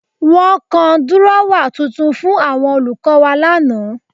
Wọ́n gan dírọ́wà tuntun fún àwọn olùkọ́ wa lánàá